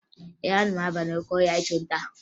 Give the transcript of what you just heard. Ee, ana m aba n'oke ahịa ịchụ nta